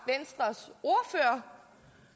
herre